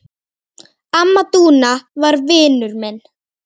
Amma Dúna var vinur minn.